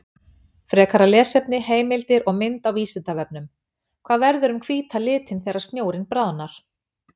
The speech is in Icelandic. Frekara lesefni, heimildir og mynd á Vísindavefnum: Hvað verður um hvíta litinn þegar snjórinn bráðnar?